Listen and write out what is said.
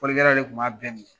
Fɔlikɛlaw yɛrɛ kun b'a bɛɛ minɛ.